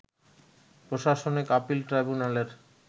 প্রশাসনিক আপিল ট্রাইব্যুনালের